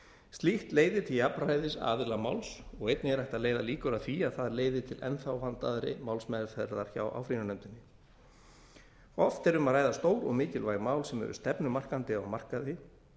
slíkt leiðir til jafnræðis aðila máls og einnig er hægt að leiða líkur að því að það leiði til enn vandaðri málsmeðferðar hjá áfrýjunarnefndinni oft er um að ræða stór og mikilvæg mál sem eru stefnumarkandi á markaði